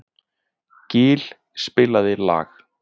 Gill, spilaðu lag.